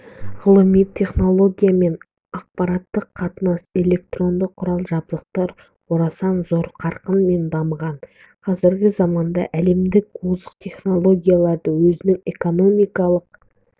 ғылыми-техонология мен ақпараттыққатынас электронды құрал-жабдықтар орасан зор қарқынмен дамыған қазіргі заманда әлемдік озық технологияларды өзінің экономикалық